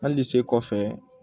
Hali de sen kɔfɛ